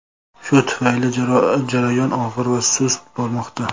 Shu tufayli jarayon og‘ir va sust bormoqda.